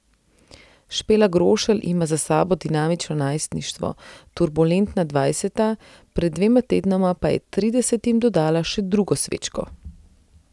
Špela Grošelj ima za sabo dinamično najstništvo, turbulentna dvajseta, pred dvema tednoma pa je tridesetim dodala še drugo svečko.